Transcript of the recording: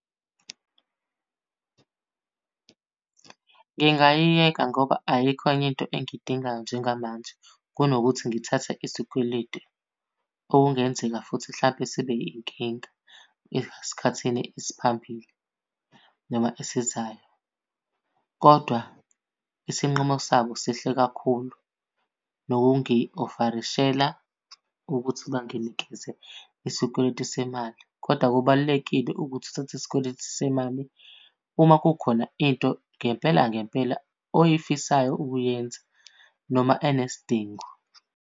Ngingayiyeka ngoba ayikho enye into engiyidingayo njengamanje kunokuthi ngithathe isikweletu okungenzeka futhi hlampe sibe yinkinga esikhathini esiphambili noma esizayo. Kodwa isinqumo sabo sihle kakhulu, nokungi-ofarishela ukuthi banginikeze isikweletu semali. Kodwa kubalulekile ukuthi uthathe isikweletu semali uma kukhona into ngempela ngempela oyifisayo ukuyenza noma enesidingo.